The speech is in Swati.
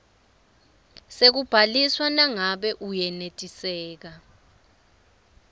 sekubhaliswa nangabe uyenetiseka